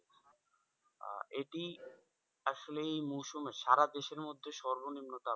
আহ এটি আসলেই এই মরশুমের সারাদেশের মধ্যে সর্বনিম্ন ,